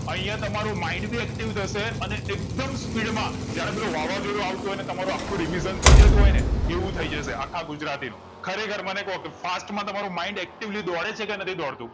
અહીંયા તમારું mind ભી active થશે અને એકદમ speed માં જાણે પેલું વાવાજોડું આવતું હોયને તમારું આખુ revision થાયજતું હોયને એવું થઈજશે આખા ગુજરાતી નું ખરેખર મને કો fast તમારું mind actively દોડે છે કે નથી દોડ તું